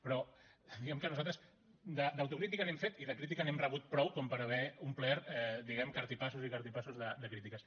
però diguem ne que nosaltres d’autocrítica n’hem fet i de crítica n’hem rebut prou com per haver omplert diguem ne cartipassos i cartipassos de crítiques